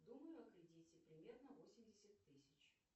думаю о кредите примерно восемьдесят тысяч